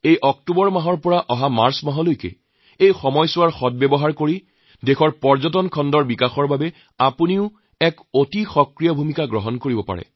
এই অক্টোবৰ মাহৰ পৰা মাৰ্চ মাহৰ সময়চোৱা পৰ্যটনৰ উন্নতিত আপুনিও এটা ডাঙৰ অনুঘটক হব পাৰে